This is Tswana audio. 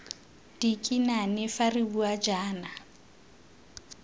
dikinane fa re bua jaana